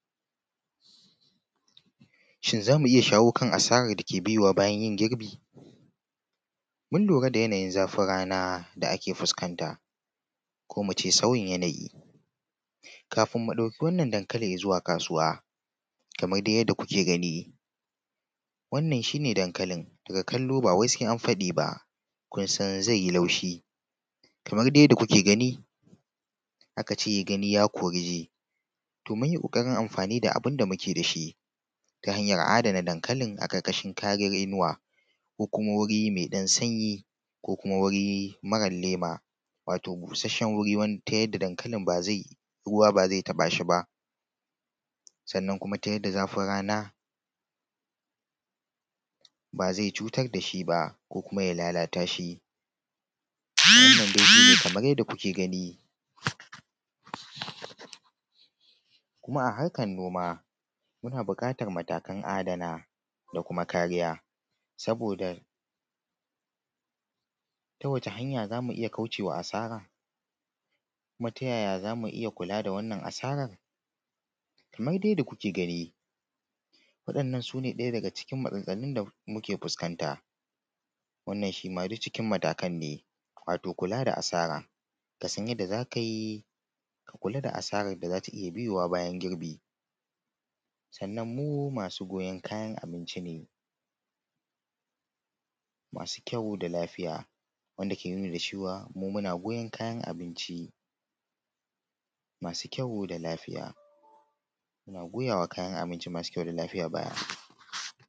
shin za mu iya shawo kan asarar da ke biyowa bayan girbin mun lura da yanayin zafin rana da ake fuskanta ko mu ce sauyin yanayi kafin mu ɗauki wannan dankali zuwa kasuwa kamar dai yanda kuke gani wannan shine dankali daga kallo bawai sai an faɗi ba kin san zai yi laushi kamar dai yanda kuke gani aka ce gani ya kori ji to munyi ƙo:arin amfani da abun da muke da shi ta hanyar adana dankali a ƙarƙashin kariyan inuwa ko kuma guri mai ɗan sanyi ko kuma wuri mara lema wato bushashshen guri ta yanda ruwa ba zai ba zai taɓa shi ba sannan kuma ta yanda zafin rana ba zai cutar da shi ba ko kuma ya lalata shi wannan dai shine kamar yanda kuke gani kuma a harkan noma muna buƙatar matakan adana da kuma kariya saboda ta wace hanya zamu iya kauce wa asara kuma ta yaya zamu iya kula da wannan asarar kamar dai yanda kuke gani wa’yannan sune ɗaya daga cikin matsaltsalun da muke fuskanta wannan ma shima duk ciki matakan ne wato kula da asara kasan yadda za ka yi kula da asarar da za ta iya biyowa bayan girbi sannan mu masu goyan kayan abinci ne masu kyau da lafiya wanda ke nuni da cewa muna goyon kayan abinci masu kyau da lafiya muna goya wa kayan abinci masu kyau da lafiya baya